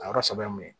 A yɔrɔ sɛbɛn mun ye